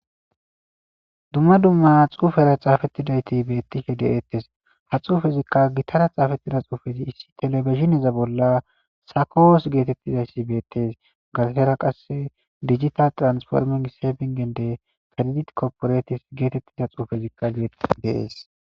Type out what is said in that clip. dumma dumma xuufera xaafettidayti bettihe deettes ha xuufezikka gittara xaafettida xuufezi issi telebezineza bolla sakoos geetettizayssi beettees galtera qasse digita transformin seebingende kredit kopporetis geetettiza xuufezikka geetti deees